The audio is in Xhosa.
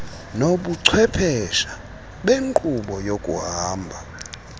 nobuchwephesha benkqubo yokuhamba